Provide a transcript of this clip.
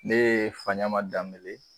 Ne ye faɲama danbele ye